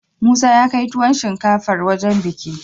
Musa yakai tuwon shinkafar wajan bikin